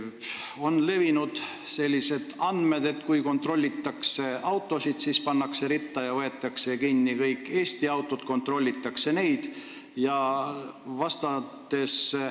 On levinud sellised andmed, et kui kontrollitakse autosid, siis pannakse ritta ja võetakse kinni Eesti autod, kontrollitakse ainult neid.